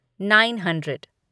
nine hundred